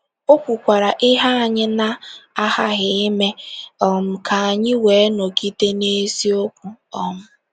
O kwukwara ihe anyị na - aghaghị ime um ka anyị wee nọgide n’eziokwu. um